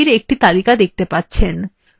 আপনি টুলবারগুলির একটি তালিকা দেখতে পাবেন